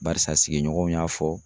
Barisa sigiɲɔgɔnw y'a fɔ